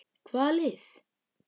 Hvaða lið?